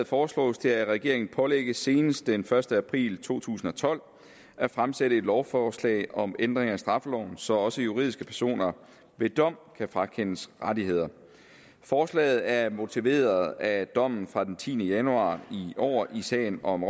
foreslås det at regeringen pålægges senest den første april to tusind og tolv at fremsætte et lovforslag om ændring af straffeloven så også juridiske personer ved dom kan frakendes rettigheder forslaget er motiveret af dommen fra den tiende januar i år i sagen om